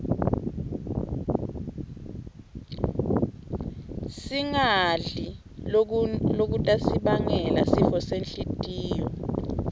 singadli lokutnsi bangela sifosenhltiyo